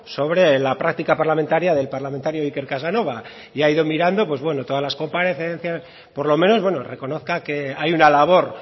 sobre la práctica parlamentaria del parlamentario iker casanova y ha ido mirando pues bueno todas las comparecencias por lo menos reconozca que hay una labor